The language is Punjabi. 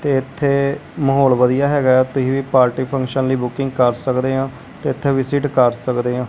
ਤੇ ਇਥੇ ਮਾਹੌਲ ਵਧੀਆ ਹੈਗਾ ਤੁਸੀਂ ਵੀ ਪਾਰਟੀ ਫੰਕਸ਼ਨ ਲਈ ਬੁਕਿੰਗ ਕਰ ਸਕਦੇ ਹੋ ਤੇ ਇਥੇ ਵਿਜਿਟ ਕਰ ਸਕਦੇ ਹੋ।